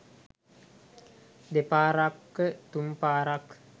දෙපාරක තුන් පාරක්